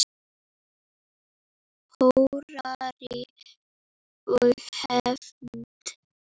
Hórarí og hefnd?